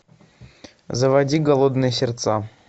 заводи голодные сердца